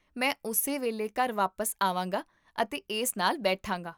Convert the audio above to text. ਮੈਂ ਉਸੇ ਵੇਲੇ ਘਰ ਵਾਪਸ ਆਵਾਂਗਾ ਅਤੇ ਇਸ ਨਾਲ ਬੈਠਾਂਗਾ